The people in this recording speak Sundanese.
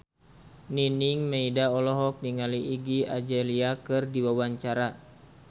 Nining Meida olohok ningali Iggy Azalea keur diwawancara